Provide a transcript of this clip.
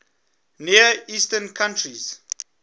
near eastern countries